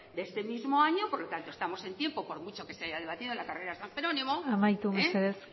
de este mismo año por lo tanto estamos en tiempo por mucho que se haya debatido en la carrera de san jerónimo amaitu mesedez